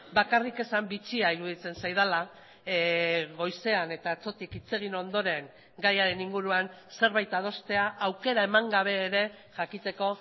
bakarrik esan bitxia iruditzen zaidala goizean eta atzotik hitz egin ondoren gaiaren inguruan zerbait adostea aukera eman gabe ere jakiteko